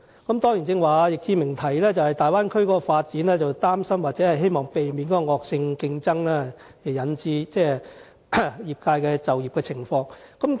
易志明議員剛才表示，他擔心大灣區的發展會帶來惡性競爭，影響業界的就業情況，希望可以避免。